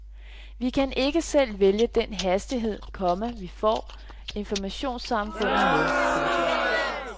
Vi kan ikke selv vælge den hastighed, komma vi får informationssamfundet med. punktum